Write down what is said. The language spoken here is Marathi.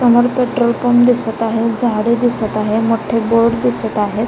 समोर पेट्रोल पंप दिसत आहे झाडे दिसत आहे बोर्ड दिसत आहे.